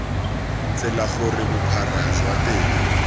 tsela gore bophara jwa tela